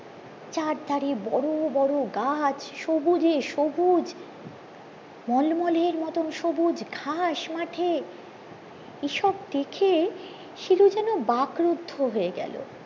চার ধরে বড়ো বড়ো গাছ সবুজে সবুজ মলমলের মতোন সবুজ ঘাস মাঠে এইসব দেখে শিলু যেন ব্যাঘ্রোধ হয়ে গেলো